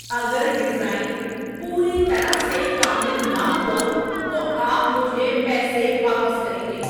اگر ڈیزائن پوری طرح سے کامل نہ ہوا تو آپ مجھے پیسے واپس کریں گے۔